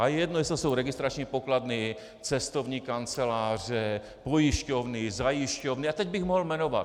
A je jedno, jestli to jsou registrační pokladny, cestovní kanceláře, pojišťovny, zajišťovny a teď bych mohl jmenovat.